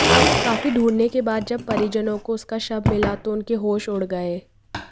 काफी ढूंढने के बाद जब परिजनों को उसका शव मिला तो उनके होश उड़ गए